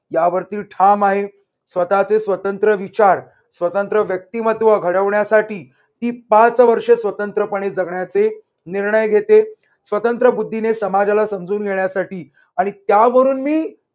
यावर ती ठाम आहे स्वतःचे स्वतंत्र विचार स्वतंत्र व्यक्तिमत्त्व घडवण्यासाठी ती पाच वर्ष स्वतंत्रपणे जगण्याचे निर्णय घेते स्वतंत्र बुद्धीने समाजाला समजून घेण्यासाठी आणि त्यावरून मी